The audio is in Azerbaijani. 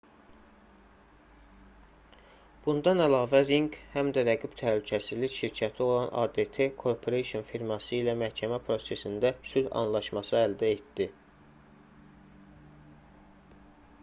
bundan əlavə ring həm də rəqib təhlükəsizlik şirkəti olan adt corporation firması ilə məhkəmə prosesində sülh anlaşması əldə etdi